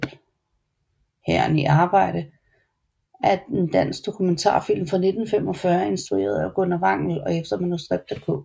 Hæren i arbejde er en dansk dokumentarfilm fra 1945 instrueret af Gunnar Wangel og efter manuskript af K